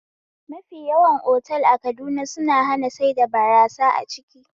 Mafi yawan otal a Kaduna suna hana saida barasa a ciki